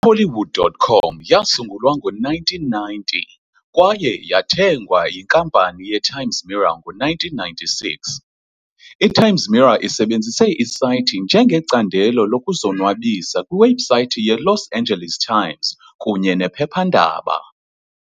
I-Hollywood.com yasungulwa ngo-1990 kwaye yathengwa kwaye yathengwa yiNkampani ye-Times Mirror ngo-1996. I-Times Mirror isebenzise isayithi njengecandelo lokuzonwabisa kwiwebhusayithi yeLos Angeles Times kunye nephephandaba.